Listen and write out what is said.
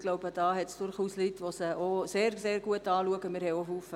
Ich glaube, da gibt es durchaus Leute, die sie sehr genau angeschaut haben.